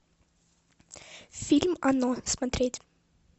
фильм оно смотреть